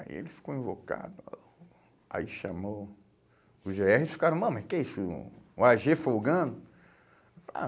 Aí ele ficou invocado, aí chamou o gê erre e eles ficaram, mas o que é isso, o á gê folgando?